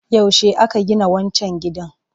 Yaushe aka gina wancan gidan?